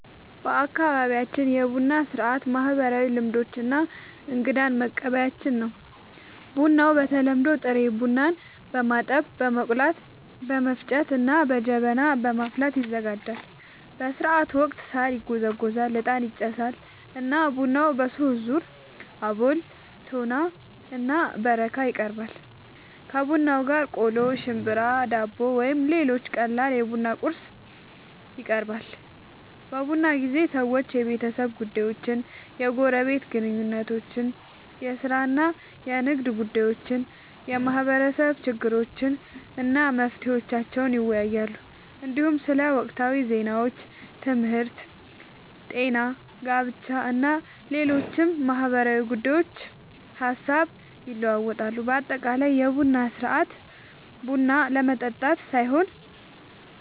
በአካባቢያችን የቡና ሥርዓት ማህበራዊ ልምዶች እና እንግዳን መቀበያችን ነው። ቡናው በተለምዶ ጥሬ ቡናን በማጠብ፣ በመቆላት፣ በመፍጨት እና በጀበና በማፍላት ይዘጋጃል። በሥርዓቱ ወቅት ሣር ይጎዘጎዛል፣ ዕጣን ይጨሳል እና ቡናው በሦስት ዙር (አቦል፣ ቶና እና በረካ) ይቀርባል። ከቡናው ጋር ቆሎ፣ ሽምብራ፣ ዳቦ ወይም ሌሎች ቀላል የቡና ቁርስ ይቀርባል። በቡና ጊዜ ሰዎች የቤተሰብ ጉዳዮችን፣ የጎረቤት ግንኙነቶችን፣ የሥራ እና የንግድ ጉዳዮችን፣ የማህበረሰብ ችግሮችን እና መፍትሄዎቻቸውን ይወያያሉ። እንዲሁም ስለ ወቅታዊ ዜናዎች፣ ትምህርት፣ ጤና፣ ጋብቻ እና ሌሎች ማህበራዊ ጉዳዮች ሐሳብ ይለዋወጣሉ። በአጠቃላይ የቡና ሥርዓት ቡና ለመጠጣት ሳይሆን